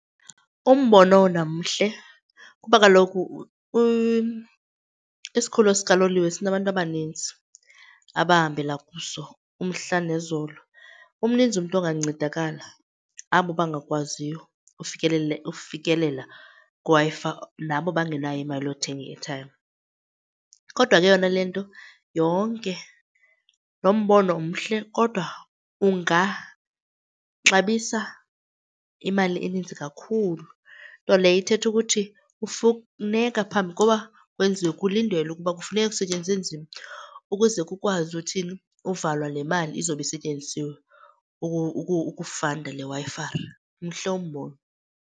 Umbono wona mhle kuba kaloku isikhululo sikaloliwe sinabantu abaninzi abahambela kuso umhla nezolo. Umninzi umntu ongancedakala, abo bangakwaziyo ukufikelela kwiWi-Fi nabo bangenayo imali yokuthenga i-airtime. Kodwa ke yona le nto yonke, lo mbono mhle kodwa ungaxabisa imali eninzi kakhulu, nto leyo ithetha ukuthi kufuneka phambi kokuba kwenziwe kulindelwe ukuba kufuneka kusetyenzwe nzima ukuze kukwazi uthini, uvalwa le mali izobe isetyenzisiwe ukufanda le Wi-Fi. Mhle umbono.